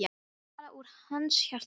Eins og talað úr hans hjarta.